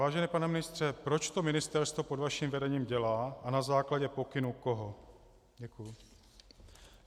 Vážený pane ministře, proč to ministerstvo pod vaším vedením dělá a na základě pokynu koho?